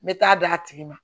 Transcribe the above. N bɛ taa d'a tigi ma